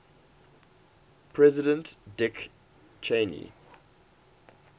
president dick cheney